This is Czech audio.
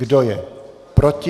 Kdo je proti?